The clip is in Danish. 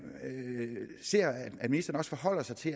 ser at ministeren forholder sig til